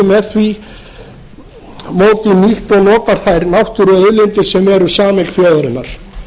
með því móti nýtt og notað þær náttúruauðlindir sem eru sameign þjóðarinnar